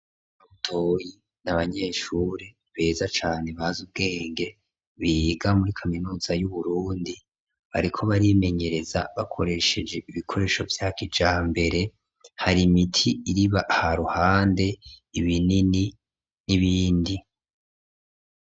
Butoyi n'abanyeshuri beza cane bazi ubwenge, biga muri kaminuza y'uBurundi bariko barimenyereza bakoresheje ibikoresho vya kijambere ,hari imiti iriba haruhande, ibinini n'ibindi.